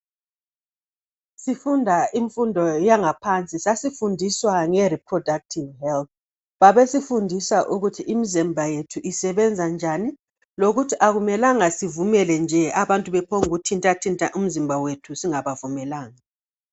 Sifunda imfundo yangaphansi, sasifundiswa nge riphrodakthivu helth. Babesifundisa ukuthi imizimba yethu isebenza njani, lokuthi akumelanga sivumele nje abantu bephongkuthintathinta umizimba wethu singabavumelanga.